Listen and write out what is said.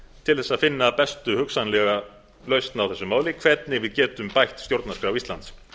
til að finna bestu hugsanlega lausn á þessu máli hvernig við getum bætt stjórnarskrá íslands